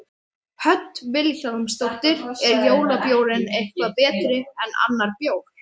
Hödd Vilhjálmsdóttir: Er jólabjórinn eitthvað betri en annar bjór?